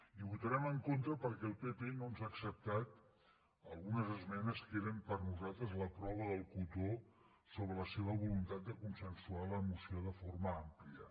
hi votarem en contra perquè el pp no ens ha acceptat algunes esmenes que eren per nosaltres la prova del cotó sobre la seva voluntat de consensuar la moció de forma àmplia